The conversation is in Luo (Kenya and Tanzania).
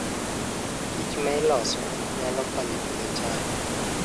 kichma iloso nyalo konyo e pidho cham.